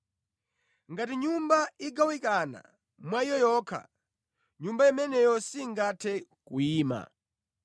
Ngati nyumba igawanikana mwa iyo yokha, nyumba imeneyo singathe kuyima.